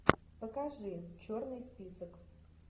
покажи черный список